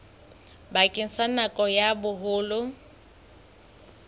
bakeng sa nako ya boholo